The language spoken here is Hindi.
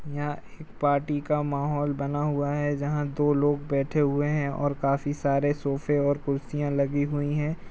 यहाँ एक पार्टी का माहौल बना हुआ है जहाँ दो लोग बैठे हुए हैं और काफी सारे सोफे और कुर्सियां लगी हुई हैं |